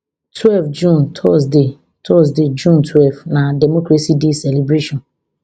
twelve june thursday thursday june twelve na democracy day celebration